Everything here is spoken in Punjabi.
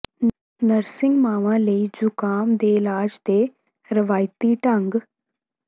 ਨਰਸਿੰਗ ਮਾਵਾਂ ਲਈ ਜ਼ੁਕਾਮ ਦੇ ਇਲਾਜ ਦੇ ਰਵਾਇਤੀ ਢੰਗ